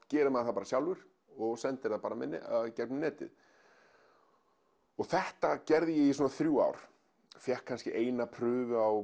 gerir maður það sjálfur og sendir gegnum netið þetta gerði ég í svona þrjú ár fékk kannski eina prufu á